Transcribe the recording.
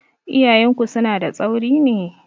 Iyayenku suna da tsauri ne?